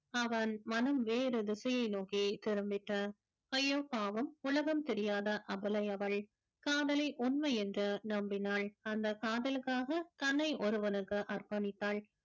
அவன் மனம் வேறு திசையை நோக்கி திரும்பிட்டான் ஐயோ பாவம் உலகம் தெரியாத அபலையவள் காதலை உண்மை என்று நம்பினாள் அந்த காதலுக்காக தன்னை ஒருவனுக்கு அர்ப்பணித்தாள்